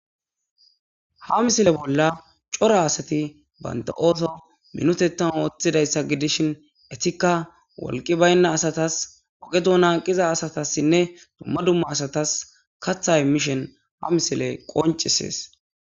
ha misile bolla cora asati baynta7ooto minotetan ooththidayssa gidishin etikka wolqi baynna asatas oqe duna hanqiza asatassinne dumma dumma asatas katha imishen ha misile qoncisees